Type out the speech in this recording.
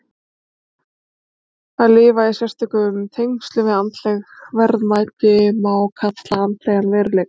Að lifa í sérstökum tengslum við andleg verðmæti má kalla andlegan veruleika.